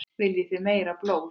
Viljið þið meira blóð?